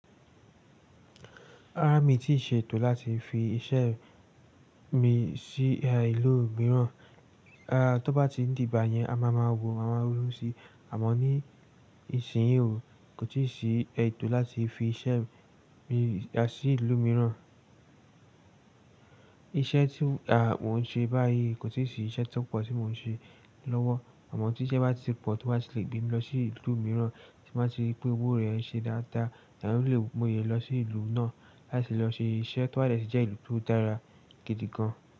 Rárá mi ò tíì ṣe ètò láti fi iṣẹ́ mi sí ìlú mìíràn. Rárá tó bá ti di ìgbà yẹn, a máa ma wò, a máa ma ronu si. Àmọ́ ní ìsinyìí o, kò tíì sí ètò láti fi iṣẹ́ mi sí ìlú mìíràn. Iṣẹ́ tí à mo n ṣe báyìí kò tíì sí iṣẹ́ tó pọ̀ tí mo n ṣe lọ́wọ́. Àmọ́ tí iṣẹ́ bá ti pọ̀ tí wọ́n bá ti lè gbé mi lọ sí ìlú mìíràn tí n bá ti ri wípé owò rẹ̀ ń ṣe dáadáa, mo lè mọlè lọ sí ìlú náà láti lọ ṣe iṣẹ́. To ba de ti jẹ́ ìlú tó dára gidi gan.